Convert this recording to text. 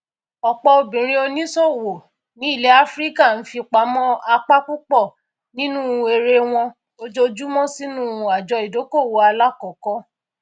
ọpọ obìnrin oníṣòwò ní ilẹ áfíríkà ń fipamọ apá púpọ nínú èrè wọn ojoojúmọ sínú àjọ ìdokoowó alákọkọ